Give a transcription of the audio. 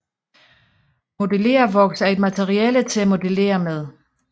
Modellervoks er et materiale til at modellere med